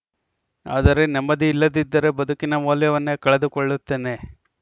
ಆದರೆ ನೆಮ್ಮದಿ ಇಲ್ಲದಿದ್ದರೆ ಬದುಕಿನ ಮೌಲ್ಯವನ್ನೇ ಕಳೆದುಕೊಳ್ಳುತ್ತೇನೆ